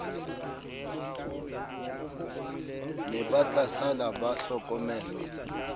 ne ba tlasala ba hlokomelwa